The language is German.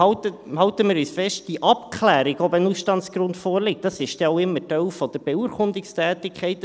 Und halten wir es fest: Die Abklärung, ob ein Ausstandsgrund vorliegt, ist dann auch immer Teil der Beurkundungstätigkeit.